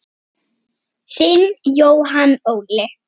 Þinn Jóhann Óli.